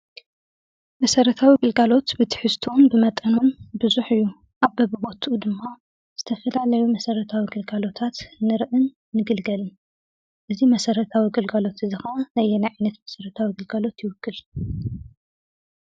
መሰረታዊ ግልጋሎት ብትሕዝትኡን ብመጠኑን ብዙሕ እዩ። ኣብ በቢቦትኡ ዝተፈላለዩ መሰረታዊ ግልጋሎታት ንሪኢን ንግልገልን። እዚ መሰረታዊ ግልጋሎት ከዓ ነየናይ ዓይነት መሰረታዊ ግልጋሎት ይውክል?